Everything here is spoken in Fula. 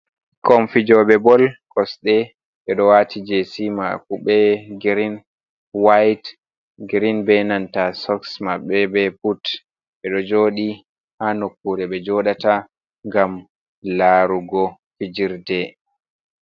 Komfijoɓe bol kosɗe ɓe ɗo wati jesi mako be girin wayt girin, be nanta soks maɓɓe be but ɓe ɗo jodi ha nokkure ɓe joɗata ngam larugo fijirde.